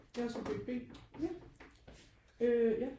Jeg er subjekt b øh ja